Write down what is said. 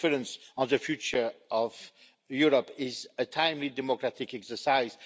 This conference on the future of Europe is a timely democratic exercise.